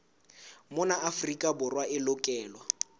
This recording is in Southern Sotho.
mona afrika borwa e lokelwa